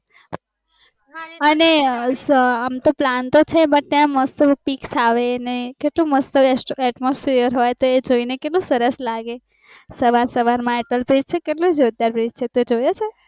અને અમ તો plan તો છે but ત્યાં મસ્ત્સ pics આવે અને કેટલું મસ્ત atmosphere નુંતે જોઇને સરસ લાગે, સવાર સવાર માં અટલ bridge કેટલું જોરદાર breidge છે તે જોયું છે